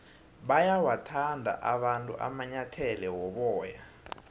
bayawathanda abantu amanyathele woboya